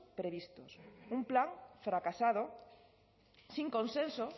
previstos un plan fracasado sin consenso